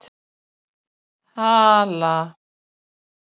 Hala